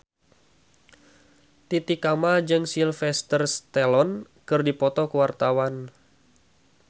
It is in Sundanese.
Titi Kamal jeung Sylvester Stallone keur dipoto ku wartawan